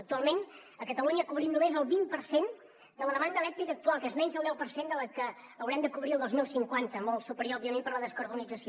actualment a catalunya cobrim només el vint per cent de la demanda elèctrica actual que és menys del deu per cent de la que haurem de cobrir el dos mil cinquanta molt superior òbviament per la descarbonització